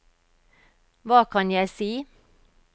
hva kan jeg si